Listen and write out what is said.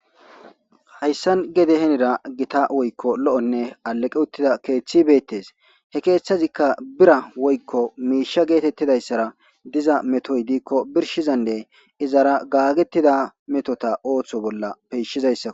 hayssan gede henira gita woykko lo7onne aleqe uttida keeththi beettes he keeththazikka bira woykko miisha geetettidayssara diza metoy diikko birshizanne izara gaagetida metota ooththo bolla peishizayssak